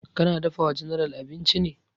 Ka na dafa wa general abinci ne?